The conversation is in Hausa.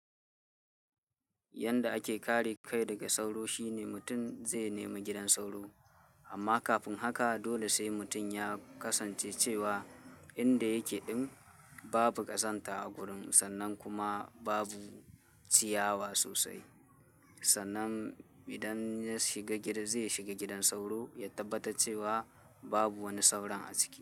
Yanda ake kare kai daga sauro shine mutum zai nemi gidan sauro. Amma kafin haka dole sai mutum ya kasance cewa inda yake ɗin babu ƙazanta a gurin sannan kuma babu ciyawa sosai. Sannan idan ya shiga gida zai shiga gidan sauro ya tabbatar cewa babu wani sauran a ciki.